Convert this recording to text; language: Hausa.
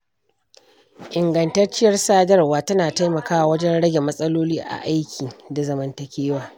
Ingantacciyar sadarwa tana taimakawa wajen rage matsaloli a aiki da zamantakewa.